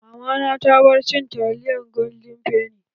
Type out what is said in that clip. Mamana ta bar cin taliyan golden fenny.